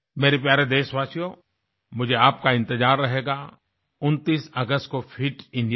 मेरे प्यारे देशवासियो मुझे आपका इंतजार रहेगा 29 अगस्त को फिट इंडिया में